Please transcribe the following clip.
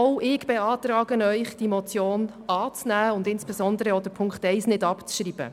Auch ich empfehle Ihnen, die Motion anzunehmen und insbesondere den Punkt 1 nicht abzuschreiben.